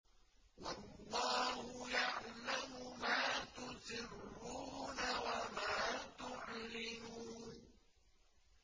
وَاللَّهُ يَعْلَمُ مَا تُسِرُّونَ وَمَا تُعْلِنُونَ